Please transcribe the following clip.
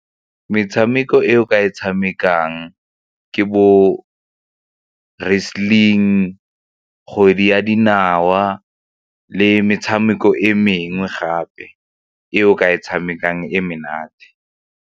Metshameko e o ka e tshamekang ke bo wrestling, kgwedi ya dinawa le metshameko e mengwe gape e o ka e tshamekang e menate.